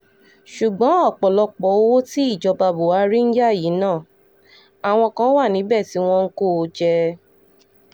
ṣùgbọ́n ọ̀pọ̀lọpọ̀ owó tí ìjọba buhari ń yá yìí náà àwọn kan wà níbẹ̀ tí wọ́n ń kó o jẹ